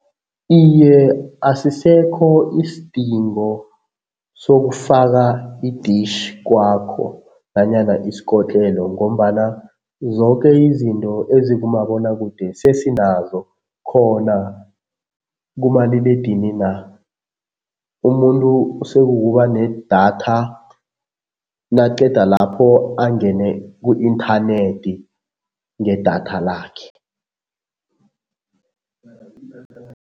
Iye, asisekho isidingo sokufaka i-dish kwakho nanyana isikotlelo ngombana zoke izinto ezikumabonwakude sesinazo khona kumaliledinini na. Umuntu sekukuba nedatha naqeda lapho angene ku-inthanethi ngedatha lakhe.